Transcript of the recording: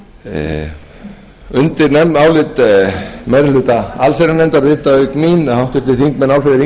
undir álit meiri hluta allsherjarnefndar rita auk mín háttvirtir þingmenn álfheiður